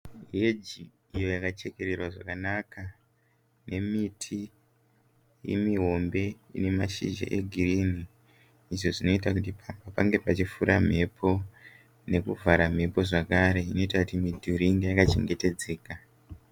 Heji iyo yachekererwa zvakanaka nemiti mihombe ine mashizha egirini izvo zvinoita pange pachifura mhepo nekuvhara mhepo zvakare zvinoita kuti midhuri inge yakachengetedzeka.